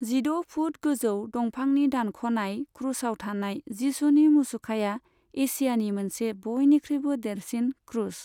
जिद' फुट गोजौ दंफांनि दानख'नाय क्रुसआव थानाय जिसुनि मुसुखाया एसियानि मोनसे बयनिख्रुइबो देरसिन क्रुस।